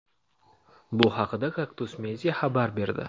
Bu haqda "Kaktus media" xabar berdi.